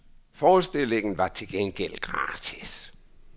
Forestillingen var til gengæld gratis.